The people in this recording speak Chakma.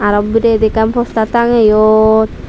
hon bodeyot ekkan postar tangeyon.